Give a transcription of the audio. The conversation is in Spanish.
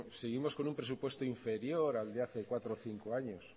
seguimos con un presupuesto inferior al de hace cuatro o cinco años